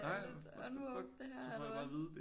Er det lidt unwoke det her eller hvad